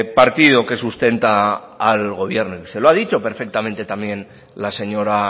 partido que sustenta al gobierno y se lo ha dicho perfectamente también la señora